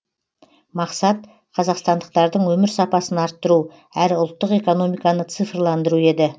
мақсат қазақстандықтардың өмір сапасын арттыру әрі ұлттық экономиканы цифрландыру еді